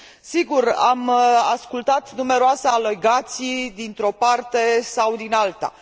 Sigur, am ascultat numeroase alegații, dintr o parte sau din alta.